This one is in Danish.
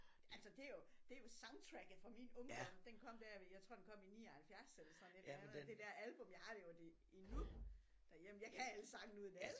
Altså det er jo det er jo soundtracket fra min ungdom den kom der ved jeg tror den kom i 79 eller sådan et eller andet det dér album jeg har det jo endnu derhjemme jeg kan alle sangene udenad